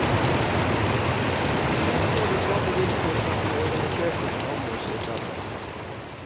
De oppnår de samme vilkår som de organiserte forhandler seg frem til.